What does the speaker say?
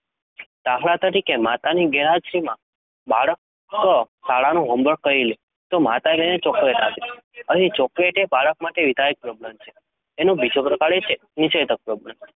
દાખલ તરીકે માતાની ગેરહાજરીમાં બાળક શાળાનું હોમવર્ક કરી લે તો માતા તેને ચોકલેટ આપે છે. અહીં ચોકલેટ એ બાળક માટે વિધાયક પ્રબલન છે. એનો બીજો પ્રકાર એ છે નિષેધક પ્રબલન